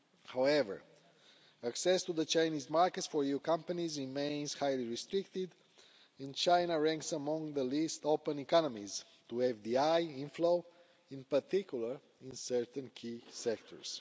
However, access to the Chinese markets for EU companies remains highly restricted and China ranks among the least open economies to foreign direct investment inflow, in particular in certain key sectors.